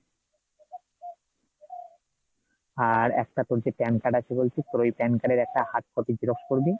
আর একটা তোর যে pan card আছে বলছিস, তোর ওই pan card এর একটা hard copy Xerox করবি ,